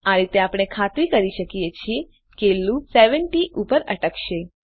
આ રીતે આપણે ખાતરી ક્રી શકીએ છીએ કે લૂપ 70 ઉપર અટકશે